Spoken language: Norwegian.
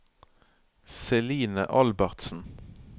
Celine Albertsen